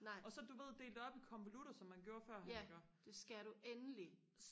og så du ved dele det op i konvolutter som man gjorde førhen iggå